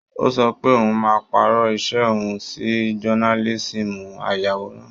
Ó sọ pé oun máa pàrọ̀ iṣẹ́ òun sí jonálísíìmù ayàwòrán